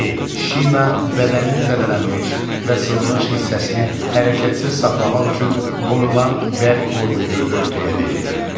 Qeyd: Şina bədənin zədələnmiş və sınmış hissəsini hərəkətsiz saxlamaq üçün qoyulan bərk qoruyucu örtüyə deyilir.